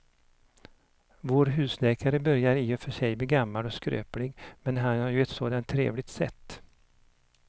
Vår husläkare börjar i och för sig bli gammal och skröplig, men han har ju ett sådant trevligt sätt!